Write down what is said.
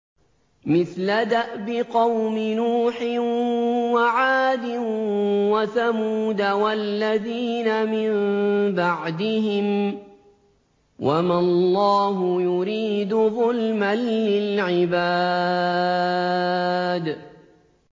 مِثْلَ دَأْبِ قَوْمِ نُوحٍ وَعَادٍ وَثَمُودَ وَالَّذِينَ مِن بَعْدِهِمْ ۚ وَمَا اللَّهُ يُرِيدُ ظُلْمًا لِّلْعِبَادِ